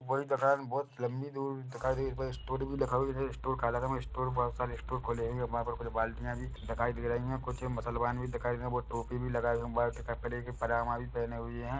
बहुत लम्बी दूरी दिखाई दे रही है बही स्टोर भी दिखाई दे रहे है स्टोर बहुत सारे स्टोर खुले है वहाँ पर कुछ बाल्टियां भी दिखाई दे रही है कुछ मुस्लमान भी दिखाई दे रहे वो टोपी भी लगाये हुए है वाइट कपड़े पजामा भी पहने है।